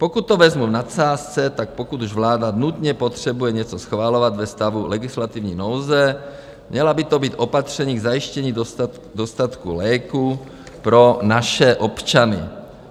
Pokud to vezmu v nadsázce, tak pokud už vláda nutně potřebuje něco schvalovat ve stavu legislativní nouze, měla by to být opatření k zajištění dostatku léků pro naše občany.